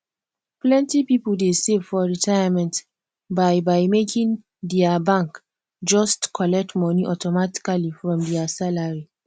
plenty people dey save for retirement by by making dia bank just collect money automatically from dia salary